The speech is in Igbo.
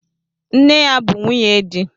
Nne ya bụ nwunye di.